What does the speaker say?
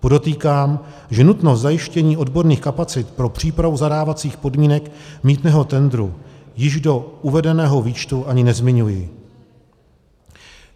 Podotýkám, že nutnost zajištění odborných kapacit pro přípravu zadávacích podmínek mýtného tendru již do uvedeného výčtu ani nezmiňuji.